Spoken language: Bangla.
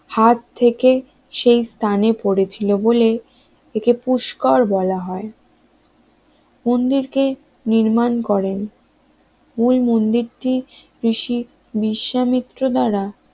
হাত থেকে সেই স্থানে পড়েছিল বলে, একে পুস্কার বলা হয় মন্দিরটি নির্মাণ করেন ওই মন্দিরটি ঋষি বিশ্বামিত্র দাঁড়া